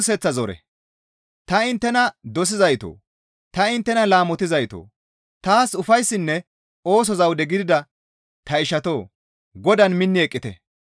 Ta inttena dosizaytoo! Ta inttena laamotizaytoo! Taas ufayssinne ooso zawude gidida ta ishatoo! Godaan minni eqqite.